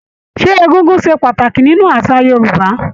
Ṣé egúngún ṣe pàtàkì nínú àṣà Yorúbá.